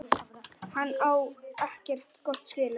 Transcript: Hann á ekkert gott skilið.